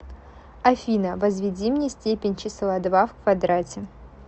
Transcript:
афина возведи мне степень числа два в квадрате